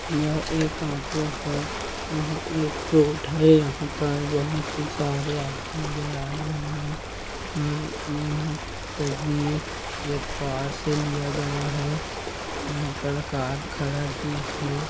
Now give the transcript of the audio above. यह एक ऑटो है यह एक रोड है यहाँ पर बहुत ही सारे आदमी नजर आ रहे है और यहाँ तस्वीर एक कार से लिया गया है यहाँ पर कार खड़ा भी है।